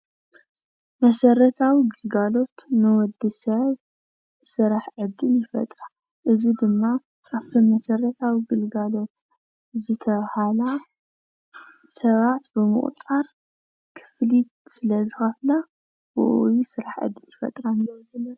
መሰረታዊ ግልጋሎት ንወድሰብ ስራሕ ዕድል ይፈጥራ፡፡ እዚ ድማ ካፍተን መሰረታዊ ግልጋሎት ዝተብሃላ ሰባት ብምቑፃር ክፍሊት ስለዝኸፍላ ብኡኡ እዩ ስራሕ ዕድል ዝፈጥራ።